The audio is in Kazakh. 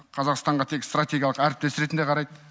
қазақстанға тек стратегиялық әріптес ретінде қарайды